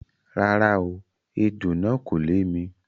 Rárá o, ejò náà kò lè mi.